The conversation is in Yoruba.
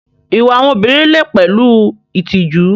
Ìwà àwọn obìnrin lè pẹ̀lú ìtìjú.